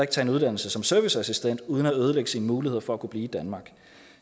tage en uddannelse som serviceassistent uden at ødelægge sine muligheder for at kunne blive i danmark